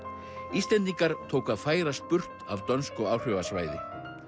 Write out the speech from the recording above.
Íslendingar tóku að færast burt af dönsku áhrifasvæði